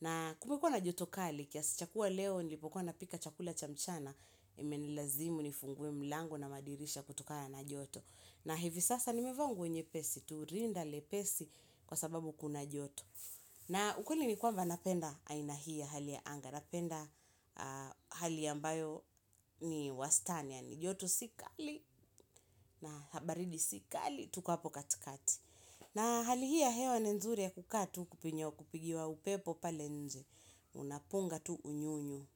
Na kumekuwa na joto kali, kiasi cha kuwa leo nilipokuwa napika chakula cha mchana, imenilazimu nifungue mlango na madirisha kutokana na joto. Na hivi sasa nimevaa nguo nyepesi, tu rinda lepesi kwa sababu kuna joto. Na ukweli ni kwamba napenda aina hii ya hali ya anga, napenda hali ambayo ni wastani yaani, joto si kali na baridi si kali. Tuko hapo katikati. Na hali hii ya hewa ni nzuri ya kukaa tu kupigiwa upepo pale nje. Unapunga tu unyunyu.